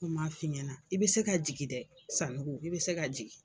Ni ma f'i ɲɛna i be se ka jigi dɛ Sandu i be se ka jigi